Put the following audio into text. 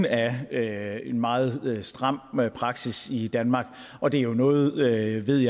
af ja jeg er en meget stram praksis i danmark og det er jo noget jeg ved